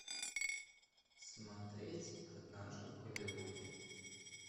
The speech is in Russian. смотреть однажды в голливуде